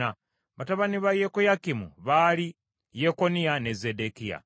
Batabani ba Yekoyakimu baali Yekoniya ne Zeddekiya.